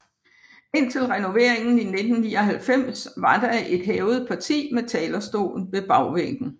Indtil renoveringen i 1999 var der et hævet parti med talerstol ved bagvæggen